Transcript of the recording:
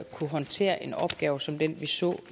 kunne håndtere en opgave som den vi så